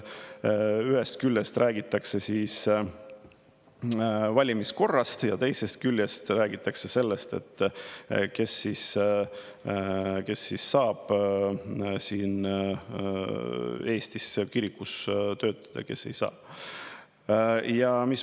Ühest küljest räägitakse siis valimiskorrast ja teisest küljest räägitakse sellest, kes saab siin Eestis kirikus töötada, kes ei saa.